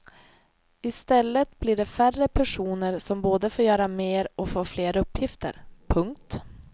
I stället blir det färre personer som både får göra mer och får fler uppgifter. punkt